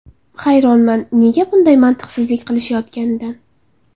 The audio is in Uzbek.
Hayronman nega bunday mantiqsizlik qilishayotganidan”.